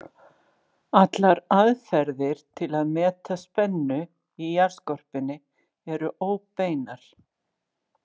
Allar aðferðir til að meta spennu í jarðskorpunni eru óbeinar.